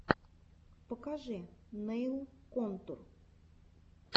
покажи нэйл контур